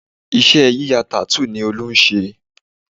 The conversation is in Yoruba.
Iṣẹ́ yíya tattoo ni Olú ń se